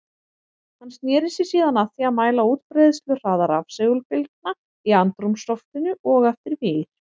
Hann sneri sér síðan að því að mæla útbreiðsluhraða rafsegulbylgna í andrúmsloftinu og eftir vír.